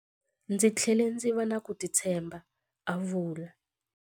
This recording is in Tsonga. Ndzi tlhele ndzi va na ku titshemba, a vula.